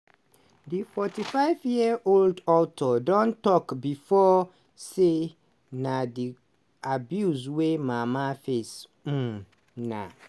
di 45 year old author don tok bifor say na di abuse wey mama face um na